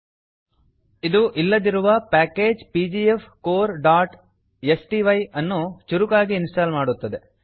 ಇದು ಇಲ್ಲದಿರುವ ಪ್ಯಾಕೇಜ್ pgfcoreಸ್ಟೈ package P G F core dot S T Y ಅನ್ನು ಚುರುಕಾಗಿ ಇನ್ಸ್ಟಾಲ್ ಮಾಡುತ್ತದೆ